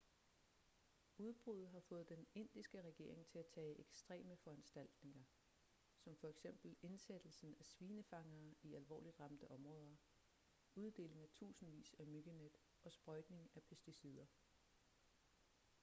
udbruddet har fået den indiske regering til at tage ekstreme foranstaltninger som f.eks indsættelsen af svinefangere i alvorligt ramte områder uddeling af tusindvis af myggenet og sprøjtning af pesticider